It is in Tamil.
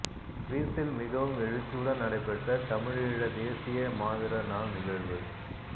சுவிஸில் மிகவும் எழுச்சியுடன் நடைபெற்ற தமிழீழத் தேசிய மாவீரர் நாள் நிகழ்வு